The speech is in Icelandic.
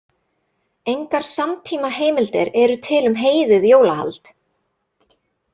Engar samtímaheimildir eru til um heiðið jólahald.